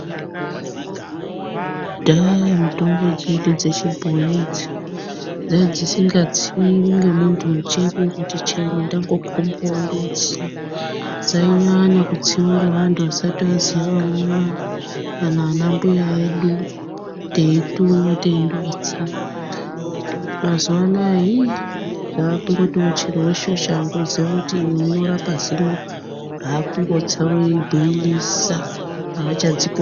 Kudhaya mitombo dzedu dzechibhoyi idzi dzanga dzisingatsiyi ngemunhu chero-chero wandode kutsa dzainyanya kutsiwa ngevantu vasati vaziya vamuna kana anambuya edu, teitumwa teindotsa mazuano iyii zvakungoti chero weshe-weshe wandoziya kuti uyu unorape zino ,aah kundotsa weibhoilisa, havachadzi koshisi.